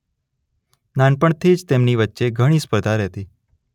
નાનપણથી જ તેમની વચ્ચે ઘણી સ્પર્ધા રહેતી.